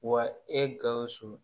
Wa e gawusu